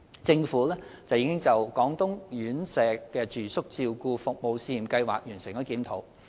政府已就"廣東院舍住宿照顧服務試驗計劃"完成檢討。